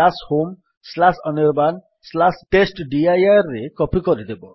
homeanirbantestdirରେ copy କରିଦେବ